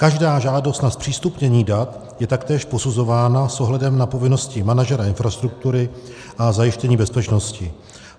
Každá žádost o zpřístupnění dat je taktéž posuzována s ohledem na povinnosti manažera infrastruktury a zajištění bezpečnosti.